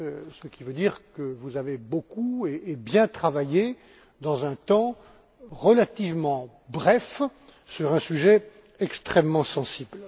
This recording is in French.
ce qui veut dire que vous avez beaucoup et bien travaillé dans un temps relativement bref un an et demi sur un sujet extrêmement sensible.